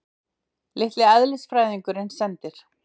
Litli eðlisfræðingurinn sendir